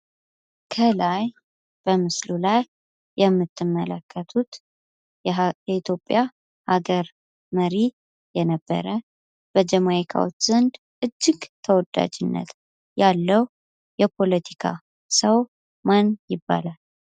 ከላይ በምስሉ ላይ የምትመለከቱት የኢትዮጵያ ሃገር መሪ የነበረ፣ በጀማይካዎች ዘንድ እጅግ ተወዳጅነት ያለው ሰው ማን ይባላል?